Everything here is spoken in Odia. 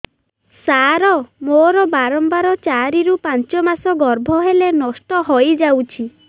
ସାର ମୋର ବାରମ୍ବାର ଚାରି ରୁ ପାଞ୍ଚ ମାସ ଗର୍ଭ ହେଲେ ନଷ୍ଟ ହଇଯାଉଛି